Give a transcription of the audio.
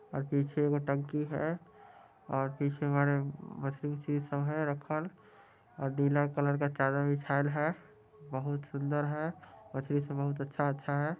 और पीछे वो टंकी है और पीछे मछली उछली सब है रखल और नीला कलर का चादर बिछाएल है बहुत सुंदर है तस्वीर से बहुत अच्छा-अच्छा है ।